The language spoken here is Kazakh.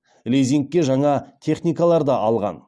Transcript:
лизингке жаңа техникалар да алған